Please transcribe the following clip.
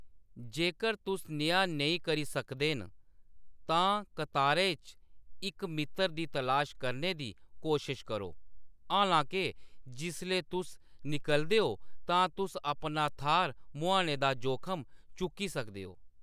जेकर तुस नेहा नेईं करी सकदे न, तां कतारै च इक मित्तर दी तलाश करने दी कोशश करो, हालांके जिसलै तुस निकलदे ओ तां तुस अपना थाह्‌‌‌र मुहाने दा जोखम चुक्की सकदे ओ।